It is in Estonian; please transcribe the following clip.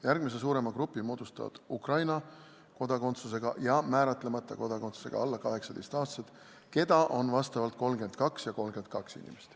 Järgmise suurema grupi moodustavad Ukraina kodakondsusega ja määratlemata kodakondsusega alla 18-aastased, keda on vastavalt 32 ja 32 inimest.